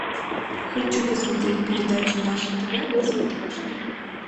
хочу посмотреть передачу наше тв на смотрешке